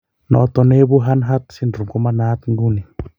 Noton ne ibu Hanhart syndrome koma naat ing'uni.